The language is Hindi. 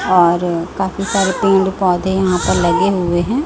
और काफी सारे पेड़ पौधे यहां पर लगे हुए हैं।